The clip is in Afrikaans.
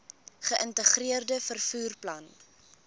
geïntegreerde vervoer plan